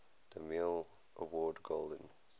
demille award golden